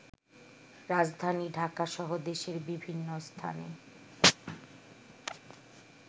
রাজধানী ঢাকাসহ দেশের বিভিন্ন স্থানে